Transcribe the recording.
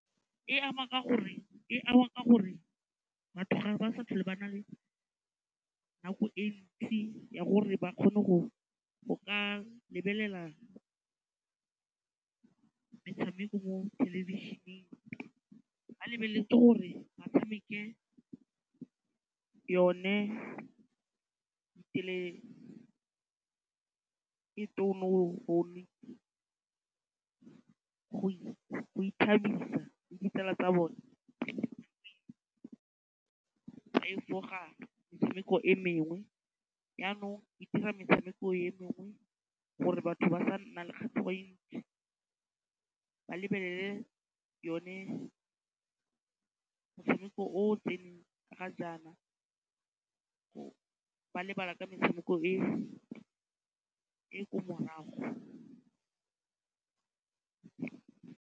E ama ka gore batho ga ba sa tlhole ba na le nako e ntsi ya gore ba kgone go ka lebelela metshameko mo thelebišeneng. Ba lebeletse gore ba tshameke yone go ithabisa le ditsala tsa bone go ka efoga metshameko e mengwe. Jaanong e dira metshameko e mengwe gore batho ba se ka ba nna le kgatlhego e ntsi, ba lebelele one motshameko o o tseneng ga jaana, ba lebala ka metshameko e e ko morago.